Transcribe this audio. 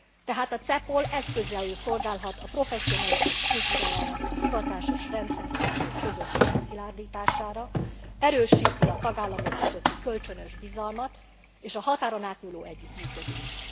Tehát a CEPOL eszközéül szolgálhat a professzionalizmus kultúrájának a hivatásos rendfenntartók közötti megszilárdítására, erősíti a tagállamok közötti kölcsönös bizalmat és a határon átnyúló együttműködést.